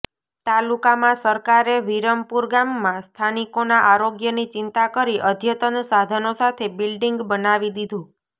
તાલુકામાં સરકારે વિરમપુર ગામમાં સ્થાનિકોના આરોગ્યની ચિંતા કરી અદ્યતન સાધનો સાથે બિલ્ડીંગ બનાવી દીધું